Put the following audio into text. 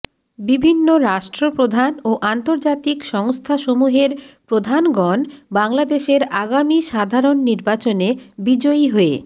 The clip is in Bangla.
বিভিন্ন রাষ্ট্র প্রধান ও আন্তর্জাতিক সংস্থাসমূহের প্রধানগণ বাংলাদেশের আগামী সাধারণ নির্বাচনে বিজয়ী হয়ে